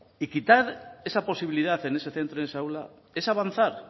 y quitar esa posibilidad en ese centro de esa aula es avanzar